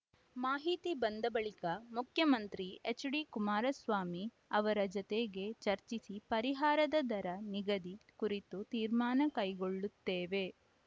ಮಾಹಿತಿ ಬಂದ ಬಳಿಕ ಮುಖ್ಯಮಂತ್ರಿ ಎಚ್‌ಡಿಕುಮಾರಸ್ವಾಮಿ ಅವರ ಜತೆಗೆ ಚರ್ಚಿಸಿ ಪರಿಹಾರದ ದರ ನಿಗದಿ ಕುರಿತು ತೀರ್ಮಾನ ಕೈಗೊಳ್ಳುತ್ತೇವೆ